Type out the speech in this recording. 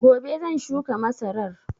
Gobe zan shuka masarar